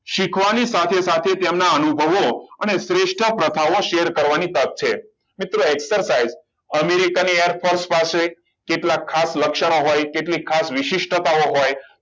શીખવાની સાથે સાથે તેમના અનુભવો અને શ્રેષ્ટ પ્રથાઓ share કરવાની તક છે મિત્રો exercise અમેરિકાની airforce પાસે કેટલાક ખાસ લક્ષણો હોય કેટલીક ખાસો વિશિષ્ટતાઓ હોય